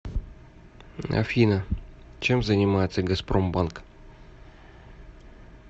афина чем занимается газпромбанк